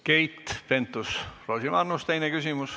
Keit Pentus-Rosimannus, teine küsimus.